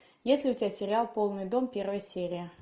есть ли у тебя сериал полный дом первая серия